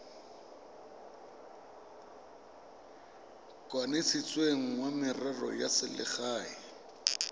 kanisitsweng wa merero ya selegae